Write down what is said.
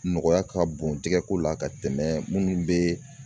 Nɔgɔya ka bon jɛgɛ ko la ka tɛmɛ munnu bɛ